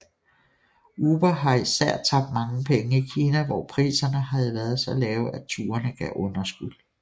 Uber havde især tabt mange penge i Kina hvor priserne havde været så lave at turene gav underskud